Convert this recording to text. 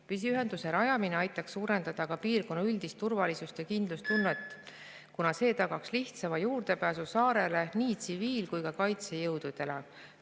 Püsiühenduse rajamine aitaks suurendada ka piirkonna üldist turvalisust ja kindlustunnet, kuna see tagaks nii tsiviil‑ kui ka kaitsejõudude lihtsama juurdepääsu saarele.